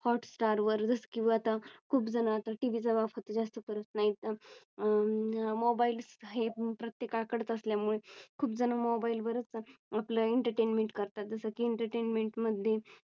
Hot star वर जस किंवा आता खूप जण आता टीव्ही चा वापर जास्त करत नाहीत अं मोबाईल हे प्रत्येकाकडे असल्यामुळे खूप जण मोबाईल वरच आपलं Entertainment करतात. जसं की Entertainment मध्ये